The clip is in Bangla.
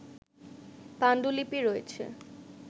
পাণ্ডুলিপি রয়েছে